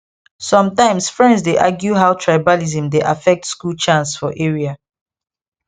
sometimes friends dey argue how tribalism dey affect school chance for area